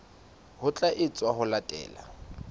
ho tla etswa ho latela